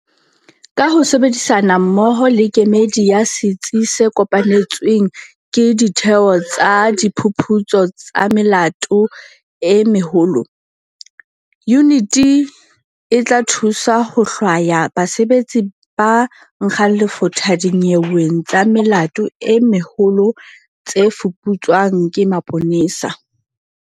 Ka ho sebedisana mmoho le kemedi ya Setsi se Kopanetsweng ke Ditheo tsa Diphuputso tsa Melato e Meholo, yuniti e tla thusa ho hlwaya basebetsi ba nkgang lefotha dinyeweng tsa melato e meholo tse fuputswang ke maponesa.